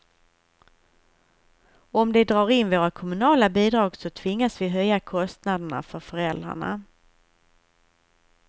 Om de drar in våra kommunala bidrag så tvingas vi höja kostnaderna för föräldrarna.